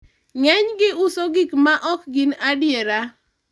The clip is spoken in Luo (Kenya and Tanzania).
ng'enygi uso gik mo ok gin adiera